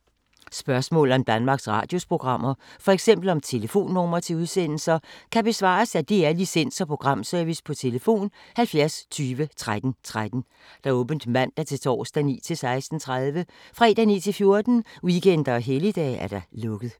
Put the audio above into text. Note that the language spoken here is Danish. Spørgsmål om Danmarks Radios programmer, f.eks. om telefonnumre til udsendelser, kan besvares af DR Licens- og Programservice: tlf. 70 20 13 13, åbent mandag-torsdag 9.00-16.30, fredag 9.00-14.00, weekender og helligdage: lukket.